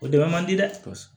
O dama man di dɛ